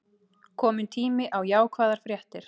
Kominn tími á jákvæðar fréttir